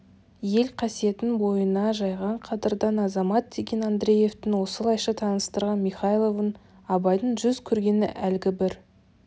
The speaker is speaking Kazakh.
ел қасиетін бойына жайған қадырдан азамат деген андреевтің осылайша таныстырған михайловын абайдың жүз көргені әлгі бір